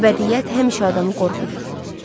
Əbədiyyət həmişə adamı qorxudur.